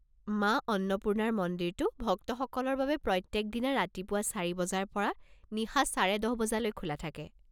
মা অন্নপূৰ্ণাৰ মন্দিৰটো ভক্তসকলৰ বাবে প্ৰত্যেকদিনা ৰাতিপুৱা চাৰি বজাৰ পৰা নিশা চাৰে দহ বজালৈ খোলা থাকে।